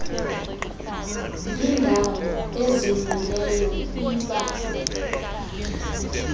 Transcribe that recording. yindawo ezimeleyo iba